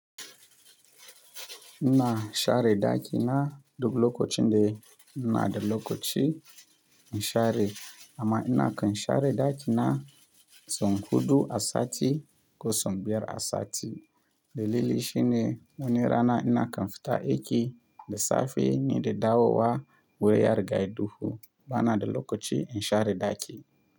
Ina share ɗaki na duk lokacin da ina da lokaci, in share, amma ina kan share ɗaki na, sau huɗu a sati ko sau biyar a sati. Dalili shine wani rana ina kan fita aiki da safe ne da dawowa wuri ya riga yai duhu, bana da lokaci in share ɗaki.